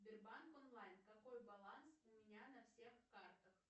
сбербанк онлайн какой баланс у меня на всех картах